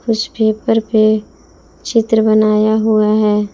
इस पेपर पे चित्र बनाया हुआ है।